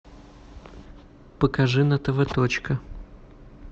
покажи на тв точка